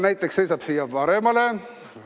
Näiteks seisa siia paremale.